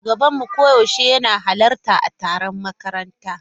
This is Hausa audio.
Shugabanmu koyaushe yana halarta a taron makaranta.